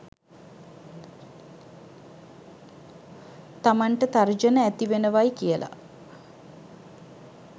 තමන්ට තර්ජන ඇති වෙනවයි කියල.